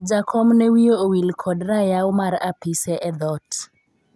jakom ne wiye owil kod rayaw mar apise e dhoot